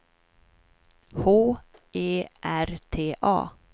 H E R T A